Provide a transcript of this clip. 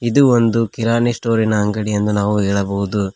ಇದು ಒಂದು ಕಿರಾಣಿ ಸ್ಟೋರಿನ ಅಂಗಡಿ ಎಂದು ನಾವು ಹೇಳಬಹುದು.